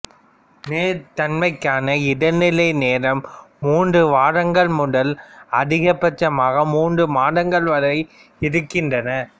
நேர்த்தன்மைக்கான இடைநிலை நேரம் மூன்று வாரங்கள் முதல் அதிகபட்சமாக மூன்று மாதங்கள் வரை இருக்கின்றன